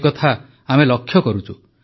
ଏ କଥା ଆମେ ଲକ୍ଷ୍ୟ କରୁଛୁ